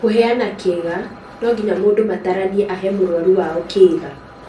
Kũheana kĩĩga:No ginya mũndũ matarainie ahe mũrũarũ wao kĩĩga.